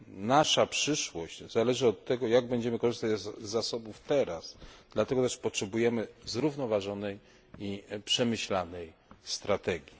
Nasza przyszłość zależy od tego, jak będziemy korzystać z zasobów teraz, dlatego też potrzebujemy zrównoważonej i przemyślanej strategii.